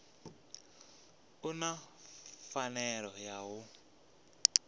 u na pfanelo ya u